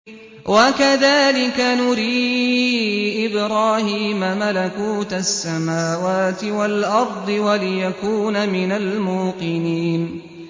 وَكَذَٰلِكَ نُرِي إِبْرَاهِيمَ مَلَكُوتَ السَّمَاوَاتِ وَالْأَرْضِ وَلِيَكُونَ مِنَ الْمُوقِنِينَ